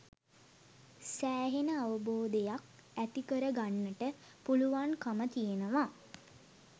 සෑහෙන අවබෝධයක් ඇති කරගන්නට පුළුවන්කම තියෙනවා.